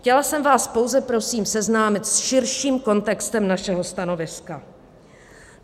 Chtěla jsem vás pouze prosím seznámit s širším kontextem našeho stanoviska.